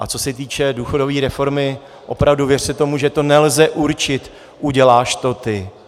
A co se týče důchodové reformu, opravdu, věřte tomu, že to nelze určit: uděláš to ty.